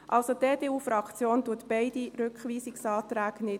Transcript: Die EDU-Fraktion unterstützt also beide Rückweisungsanträge nicht.